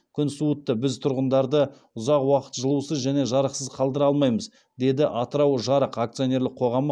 күн суытты біз тұрғындарды ұзақ уақыт жылусыз және жарықсыз қалдыра алмаймыз деді атырау жарық акционерлік қоғамы